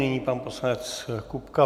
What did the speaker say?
Nyní pan poslanec Kupka.